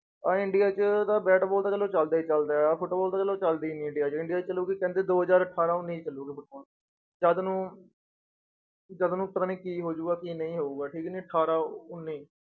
ਆਹ ਇੰਡੀਆ 'ਚ ਤਾਂ ਬੈਟਬਾਲ ਤਾਂ ਚਲੋ ਚੱਲਦਾ ਹੀ ਚੱਲਦਾ ਹੈ ਆਹ ਫੁਟਬਾਲ ਤਾਂ ਚਲੋ ਚੱਲਦਾ ਹੀ ਨੀ ਇੰਡੀਆ 'ਚ, ਇੰਡੀਆ 'ਚ ਚਲੋ ਵੀ ਕਹਿੰਦੇ ਦੋ ਹਜ਼ਾਰ ਅਠਾਰਾਂ ਉੱਨੀ 'ਚ ਚੱਲੇਗੀ ਫੁਟਬਾਲ, ਜਦ ਨੂੰ ਜਦ ਨੂੰ ਪਤਾ ਨੀ ਕੀ ਹੋ ਜਾਊਗਾ ਕੀ ਨਹੀਂ ਹੋਊਗਾ ਠੀਕ ਨੀ, ਅਠਾਰਾਂ ਉੱਨੀ।